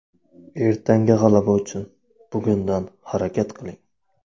Ertangi g‘alaba uchun bugundan harakat qiling.